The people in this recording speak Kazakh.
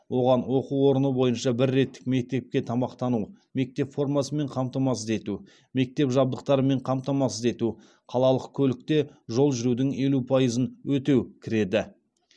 оған оқу орны бойынша бір реттік мектепке тамақтану мектеп формасымен қамтамасыз ету мектеп жабдықтарымен қамтамасыз ету қалалық көлікте жол жүрудің елу пайызын өтеу кіреді